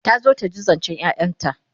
ta zo taji zancen ƴaƴanta